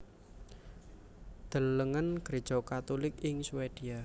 Delengen Gréja Katulik ing Swedia